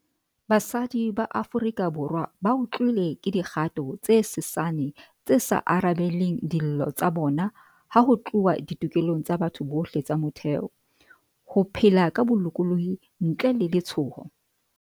Basadi ba Aforika Borwa bautlwile ke dikgato tse sesane tse sa arabeleng dillo tsa bona ha ho tluwa ditokelong tsa batho bohle tsa motheo - ho phela ka bo-lokolohi ntle le letshoho.